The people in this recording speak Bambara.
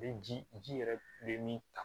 Bɛ ji ji yɛrɛ bɛ min ta